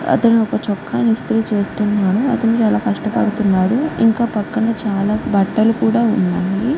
అతను ఒక చొక్కా ఇస్తిరి చేస్తునాడు అతను చాల కష్ట పడుతునాడు ఇంకా పక్కన చాల బట్టలు కూడా వున్నాయ్.